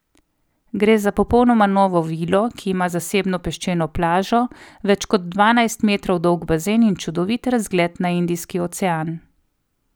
Gre za popolnoma novo vilo, ki ima zasebno peščeno plažo, več kot dvanajst metrov dolg bazen in čudovit razgled na Indijski ocean.